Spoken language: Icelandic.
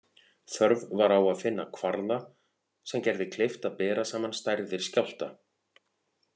Þörf var á að finna kvarða sem gerði kleift að bera saman stærðir skjálfta.